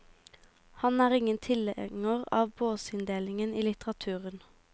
Han er ingen tilhenger av båsinndelingen i litteraturen.